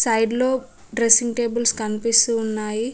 Side లో dressing tables కనిపిస్తూ ఉన్నాయి.